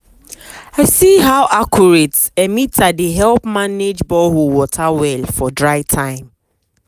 i see how accurate emitter dey help manage borehole water well for dry time.